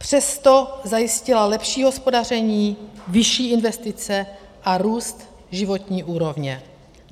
Přesto zajistila lepší hospodaření, vyšší investice a růst životní úrovně.